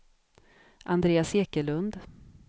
Andreas Ekelund